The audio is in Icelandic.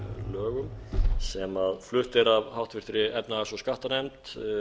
lögum sem flutt er af háttvirtrar efnahags og skattanefnd